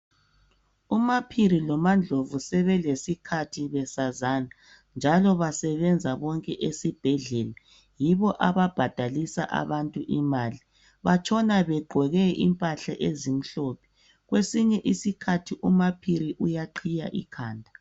UMaPhiri loMaNdlovu sebelesikhathi besazana njalo basebenzisa bonke esibhedlela yibo ababhadalisa abantu imali batshona begqoke impahla ezimhlophe kwesinye isikhathi uMaPhiri uyaqhiya ikhanda